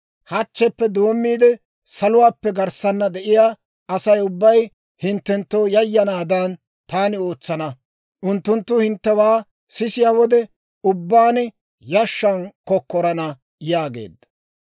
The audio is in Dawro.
Hachcheppe doommiide saluwaappe garssana de'iyaa Asay ubbay hinttenttoo yayanaadan taani ootsana; unttunttu hinttewaa sisiyaa wode ubbaan, yashshan kokkorana› yaageedda.